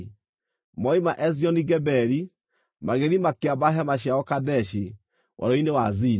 Moima Ezioni-Geberi, magĩthiĩ makĩamba hema ciao Kadeshi, Werũ-inĩ wa Zini.